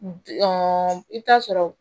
i bɛ taa sɔrɔ